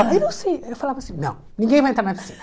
Aí não sei eu falava assim, não, ninguém vai entrar na piscina.